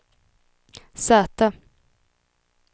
säte